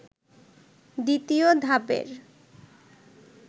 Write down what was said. দ্বিতীয় ধাপের